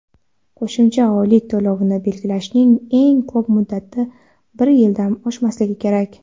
Qo‘shimcha oylik to‘lovini belgilashning eng ko‘p muddati bir yildan oshmasligi kerak.